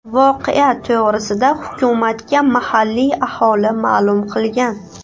Voqea to‘g‘risida hukumatga mahalliy aholi ma’lum qilgan.